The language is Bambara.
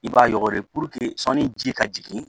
I b'a yɔgɔri puruke sanni ji ka jigin